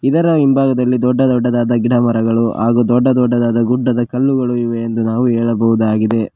ಇದರ ಹಿಂಭಾಗದಲ್ಲಿ ದೊಡ್ಡ ದೊಡ್ಡದಾದ ಗಿಡಮರಗಳು ಹಾಗೂ ದೊಡ್ಡ ದೊಡ್ಡದಾದ ಗುಡ್ಡದ ಕಲ್ಲುಗಳು ಇವೆ ಎಂದು ನಾವು ಹೇಳಬಹುದಾಗಿದೆ.